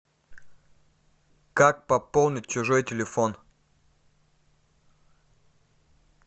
как пополнить чужой телефон